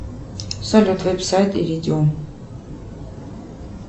салют веб сайт и видео